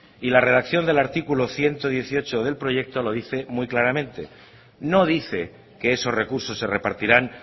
y la redacción del artículo ciento dieciocho del proyecto lo dice muy claramente no dice que esos recursos se repartirán